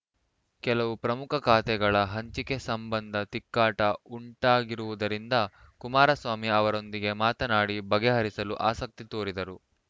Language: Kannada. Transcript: ಕೆಲವು ಪ್ರಮುಖ ಖಾತೆಗಳ ಹಂಚಿಕೆ ಸಂಬಂಧ ತಿಕ್ಕಾಟ ಉಂಟಾಗಿರುವುದರಿಂದ ಕುಮಾರಸ್ವಾಮಿ ಅವರೊಂದಿಗೆ ಮಾತನಾಡಿ ಬಗೆಹರಿಸಲು ಆಸಕ್ತಿ ತೋರಿದ್ದರು